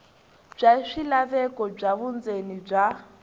bya swilaveko swa vundzeni bya